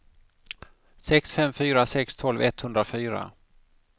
sex fem fyra sex tolv etthundrafyra